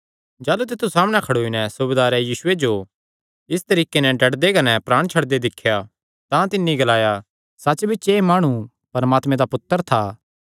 जाह़लू तित्थु सामणै खड़ोई नैं सूबेदारें यीशुये जो इस तरीके नैं डड्डदे कने प्राण छड्डदे दिख्या तां तिन्नी ग्लाया सच्च बिच्च एह़ माणु परमात्मे दा पुत्तर था